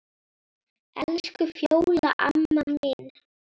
Elsku Fjóla amma mín.